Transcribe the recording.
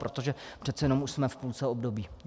Protože přece jenom už jsme v půlce období.